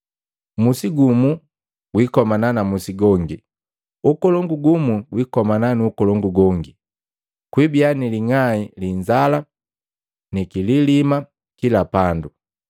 Musi gumu guikomana na musi gongi, ukolongu gumu gwikomana nu ukolongu gongi. Kwiibiya ni ling'ai li inzala ni kililima kila pandu.